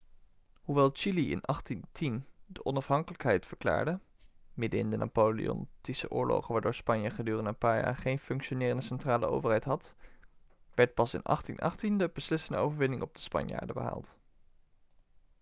hoewel chili in 1810 de onafhankelijkheid verklaarde middenin de napoleontische oorlogen waardoor spanje gedurende een paar jaar geen functionerende centrale overheid had werd pas in 1818 de beslissende overwinning op de spanjaarden behaald